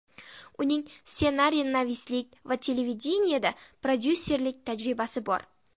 Uning ssenariynavislik va televideniyeda prodyusserlik tajribasi bor.